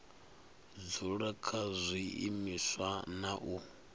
dzula kha zwiimiswa na u